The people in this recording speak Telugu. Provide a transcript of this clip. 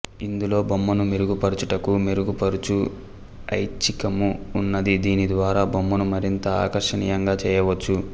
ఇందులో బొమ్మను మెరుగుపరుచుటకు మెరుగుపరుచు ఐచ్ఛికము ఉన్నది దీని ద్వారా బొమ్మను మరింత ఆకర్షనీయంగా చేయవచ్చు